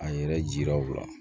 A yɛrɛ jira u la